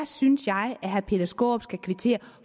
synes jeg at herre peter skaarup skal kvittere